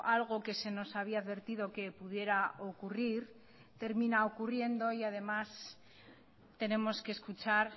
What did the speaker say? algo que se nos había advertido que pudiera ocurrir termina ocurriendo y además tenemos que escuchar